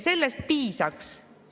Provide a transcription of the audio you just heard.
Sellest piisaks.